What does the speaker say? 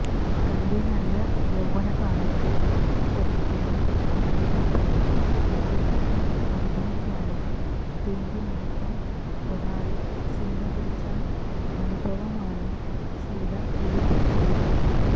തന്റെ നല്ല യൌവനകാലത്ത് ഒരിക്കല് തനിക്കൊപ്പം ആദ്യരാത്രി അഭിനയിക്കാന് വേണ്ടി മാത്രം ഒരാള് സിനിമ പിടിച്ച അനുഭവമാണ് ഷീല വെളിപ്പെടുത്തിയത്